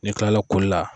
N'i kilala koli la